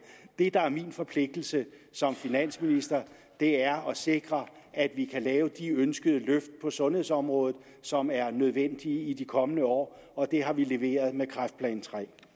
det der er min forpligtelse som finansminister er at sikre at vi kan lave de ønskede løft på sundhedsområdet som er nødvendige i de kommende år og det har vi leveret med kræftplan